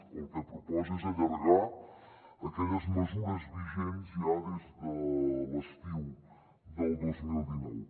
o el que proposa és allargar aquelles mesures vigents ja des de l’estiu del dos mil dinou